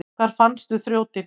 Hvar fannstu þrjótinn?